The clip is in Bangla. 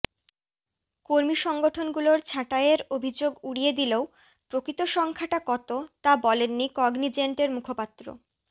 কর্মী সংগঠনগুলোর ছাঁটাইয়ের অভিযোগ উড়িয়ে দিলেও প্রকৃত সংখ্যাটা কত তা বলেননি কগনিজেন্টের মুখপাত্র